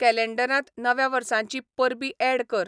कॅलेंडरांत नव्या वर्साचीं परबीं ऍड कर